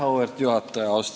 Auväärt juhataja!